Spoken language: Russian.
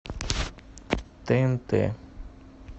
тнт